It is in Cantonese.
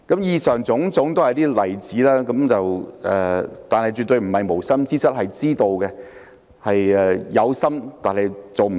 以上種種例子，政府絕不是犯了無心之失，而是有心卻沒做好